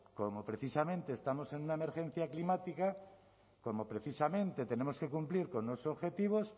como precisamente estamos en una emergencia climática como precisamente tenemos que cumplir con unos objetivos